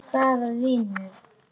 Hvaða vinur?